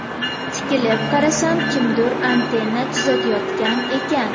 Tikilib qarasam, kimdir antenna tuzatayotgan ekan.